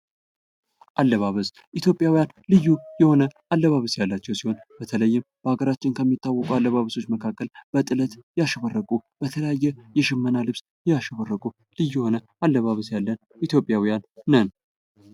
አለባበስ ኢትዮጵያውያን ልዩ የሆነ አለባበስ ያላቸው ሲሆን በተለይም በአገራችን ከሚታወቀው አለባበሶች መካከል በጥለት ያሸበረቁ፥ በተለያዩ የሽመና ውጤቶች ያሸበረቁ ልዩ የሆነ አለባበስ ያለን ኢትዮጵያውያን ነን።